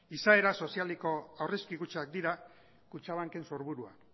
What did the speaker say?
izaera sozialeko aurrezki kutxak dira kutxabanken sorburua